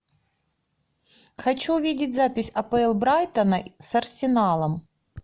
хочу видеть запись апл брайтона с арсеналом